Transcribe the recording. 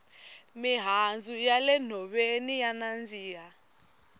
mihandzu ya le nhoveni ya nandzika